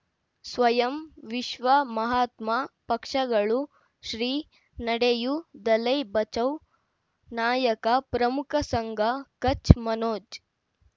ಸ್ವಯಂ ವಿಶ್ವ ಮಹಾತ್ಮ ಪಕ್ಷಗಳು ಶ್ರೀ ನಡೆಯೂ ದಲೈ ಬಚೌ ನಾಯಕ ಪ್ರಮುಖ ಸಂಘ ಕಚ್ ಮನೋಜ್